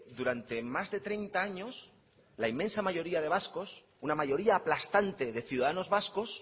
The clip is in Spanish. durante más de treinta años la inmensa mayoría de vascos una mayoría aplastante de ciudadanos vascos